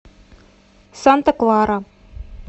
санта клара